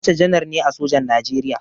Abacha janar ne a sojan Najeriya.